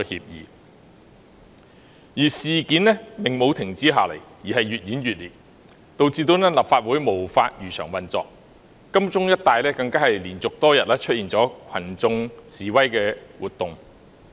然而，事件沒有停止下來，反而越演越烈，導致立法會無法如常運作，金鐘一帶更連續多天出現群眾示威活動。